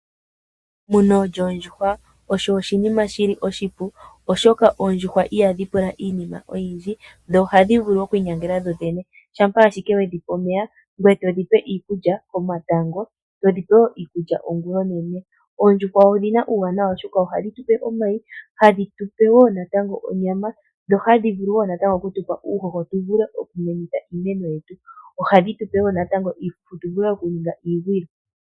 Emuno lyoondjuhwa olyo oshinima oshipu, oshoka oondjuhwa ihadhi pula iinima oyindji dho ohadhi vulu okwiinyangela dho dhene Shampa Ashike wedhi pa omeya ngoye todhi pe iikulya komatango oshowo ongula onene. Oondjuhwa odhina uuwanawa owundji ohadhi tupe omayi, ohadhi tu pe wo natango onyama, ohadhi tu pe wo uuhoho tu vule oku muna iimeno, ohadhi tu pe wo iifufu tu ningithe iigwilo.